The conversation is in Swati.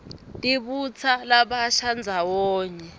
tibutsa labasha ndzawonye